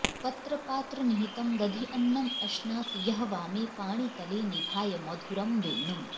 पत्र पात्र निहितम् दधि अन्नम् अश्नाति यः वामे पाणि तले निधाय मधुरम् वेणुम्